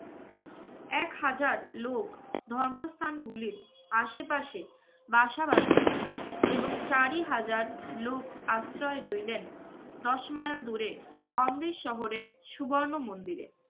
এক হাজার লোক ধর্মস্থান গুলির আশে পাশে বাসা বাঁধিলেন এবং চারি হাজার লোক আশ্রয় লইলেন দশ mile দূরে অমৃত শহরের সুবর্ণ মন্দিরে।